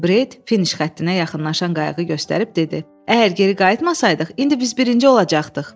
Bret finiş xəttinə yaxınlaşan qayığı göstərib dedi: Əgər geri qayıtmasaydıq, indi biz birinci olacaqdıq.